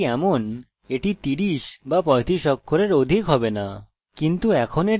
যদিও এটি এমন এটি 30 বা 35 অক্ষরের অধিক হবে না